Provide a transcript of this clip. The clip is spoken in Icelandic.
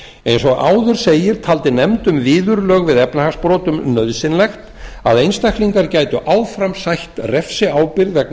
eins og áður segir taldi nefnd um viðurlög við efnahagsbrotum nauðsynlegt að einstaklingar gætu áfram sætt refsiábyrgð vegna